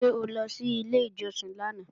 Ṣé o lọ sí ilé ìjọsìn lánàá?